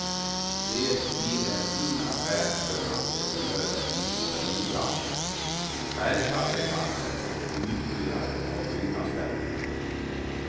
Det blir en fin affär för entreprenörer i måleribranschen, färgfabrikanter och uthyrare av byggnadsställningar.